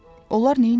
Onlar neynirdilər?